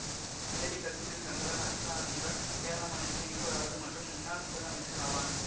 வேலிகத்து சங்கரன் அச்சுதானந்தன் கேரள மாநிலத்தின் இருபதாவது மற்றும் முன்னாள் முதல் அமைச்சர் ஆவார்